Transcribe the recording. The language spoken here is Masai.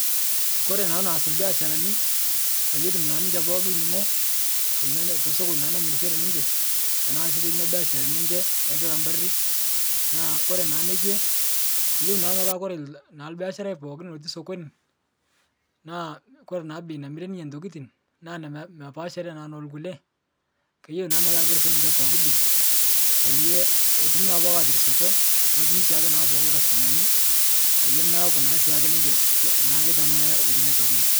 Kore naa neas lbeasharani peyie etum naa ninche pooki lning'o teina tesokoni naa namirishere ninche, tanaa sii teneina beasharani enche ekila mpari, naa kore naa nekwe, keyeu naa petaa kore lnaa lbeasharai pookin loti sokoni naa kore naa bei namire ninye ntokitin naa mepaasha naa nolkule keyeu naa metaa keriso ninche pooki bei payie etumi naa pooki aatirisioto netumi naa siake pooki lkastumani payie meaku na sii ake ninche ke naa ketamaya etii inia sokoni.